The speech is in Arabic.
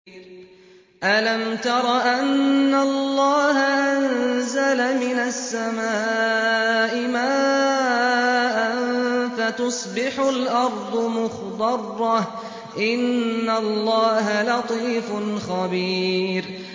أَلَمْ تَرَ أَنَّ اللَّهَ أَنزَلَ مِنَ السَّمَاءِ مَاءً فَتُصْبِحُ الْأَرْضُ مُخْضَرَّةً ۗ إِنَّ اللَّهَ لَطِيفٌ خَبِيرٌ